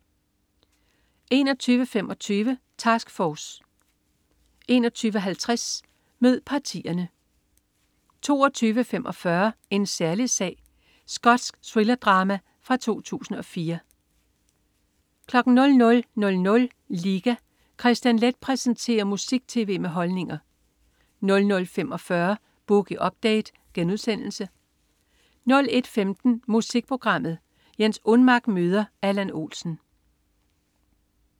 21.25 Task Force 21.50 Mød partierne 22.45 En særlig sag. Skotsk thrillerdrama fra 2004 00.00 Liga. Kristian Leth præsenterer musik-tv med holdninger 00.45 Boogie Update* 01.15 Musikprogrammet. Jens Unmack møder Allan Olsen